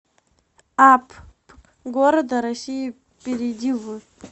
апп города россии перейди в